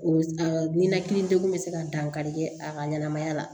O ninakili degun bɛ se ka dankari kɛ a ka ɲɛnɛmaya la